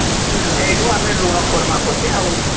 ହଁ ସେଇନୁ ଆମେ ଋଣ କରମା ପଛେ